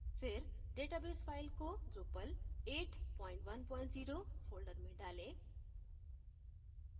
फिर database file को drupal810 folder में डालें